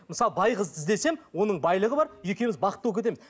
мысалы бай қызды іздесем оның байлығы бар екеуіміз бақытты болып кетеміз